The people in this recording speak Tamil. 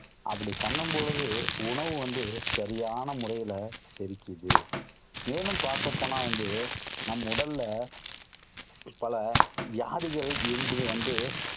அப்படி பண்ணும் பொழுது உணவு வந்து சரியான முறையில செரிக்கிது. மேலும் பார்க்க போனா வந்து, நம் உடல்ல பல வியாதிகள் இன்று வந்து